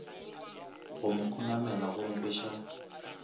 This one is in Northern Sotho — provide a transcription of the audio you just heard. go mo khunamela go nkweša